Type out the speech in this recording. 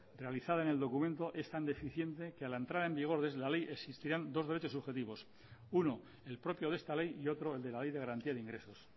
realizada en el documento es tan deficiente que a la entrada en vigor de la ley existirán dos derechos subjetivos uno el propio de esta ley y otro el de la ley de garantía de ingresos